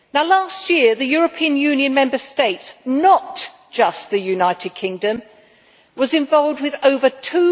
Last year the European Union Member States not just the United Kingdom was involved with over EUR